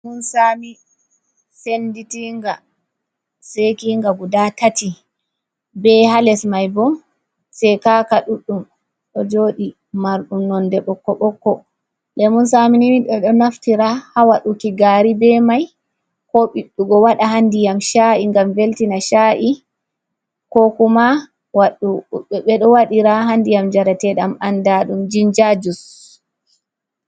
Lemun saami senditinga, sekinga guda tati, be haa les mai bo sekaka ɗuɗɗum ɗo jooɗi marɗum nonde bokko-bokko, lemun saami ni ɓeɗo naftira haa waɗuki gari be mai, ko biɗɗugo waɗa haa ndiyam sha’i ngam veltina sha’i, ko kuma ɓeɗo waɗira haa ndiyam njarateɗam andra ɗum jinja jus